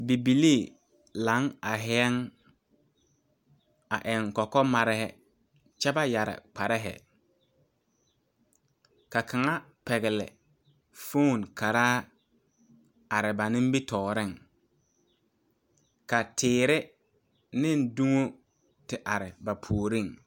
Bibilii laŋe are la, a eŋ kɔkɔmare kyɛ ba yɛre kparre ka kaŋa pɛgele fon karaa are ba nimitɔreŋ, ka tiire ane donne te are ba puoriŋ .